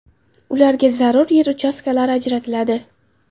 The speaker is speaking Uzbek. Ularga zarur yer uchastkalari ajratiladi.